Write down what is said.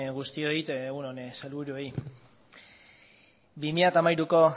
guztioi egun on sailburuei bi mila hamairuko